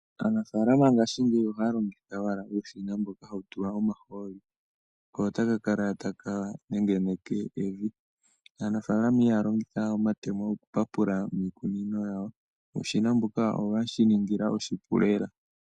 Aanafalama ngaashi ngeyi ohaya longitha owala uushina mboka hawu tulwa omaholi ko otaka kala taka nengeneke evi. Aanafalama ihaya longitha omatemo okupapula miikunino yawo uushina mbuka oweyeshi ningila oshipu lela.